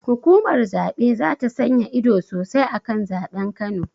Hukumar zaɓe zata sanya ido sosai akan zaɓen kano